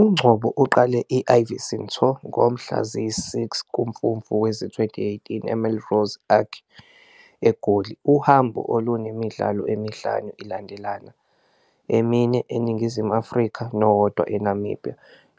UNgcobo uqale i-Ivyson Tour ngomhla ziyisi-6 kuMfumfu wezi-2018, eMelrose Arch eGoli. Uhambo olunemidlalo emihlanu ilandelana, emine eNingizimu Afrika nowodwa eNamibia,